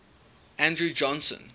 andrew johnson